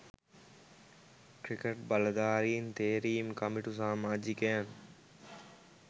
cricket බලධාරීන් තේරීම් කමිටු සාමාජිකයන්